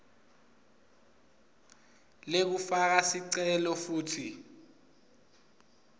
lekufaka sicelo futsi